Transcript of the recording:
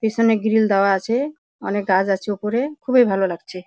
পিছনে গ্রীল দাওয়া আছে। অনকে গাছ আছে উপরে। খুবই ভালো লাগছে।